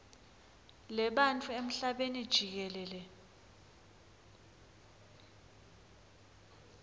lebantfu emhlabeni jikelele